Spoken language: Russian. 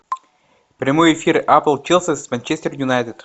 прямой эфир апл челси с манчестер юнайтед